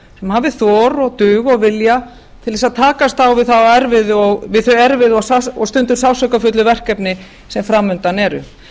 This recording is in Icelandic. hafi þor og dug og vilja til þess að takast á við þau erfiðu og stundum sársaukafullu verkefni sem fram undan eru